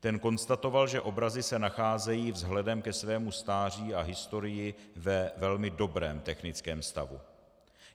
Ten konstatoval, že obrazy se nacházejí vzhledem ke svému stáří a historii ve velmi dobrém technickém stavu.